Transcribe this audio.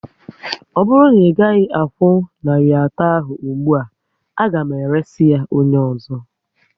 Ọ bụrụ na ị gaghị akwụ narị atọ ahụ ụgbụa, a ga m eresị ya onye ọzọ